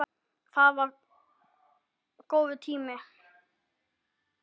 Það var það góður tími.